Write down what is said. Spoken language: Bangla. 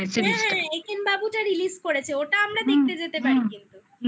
হ্যাঁ হ্যাঁ একেন বাবুটা release করেছে ওটা আমরা দেখতে যেতে পারি কিন্তু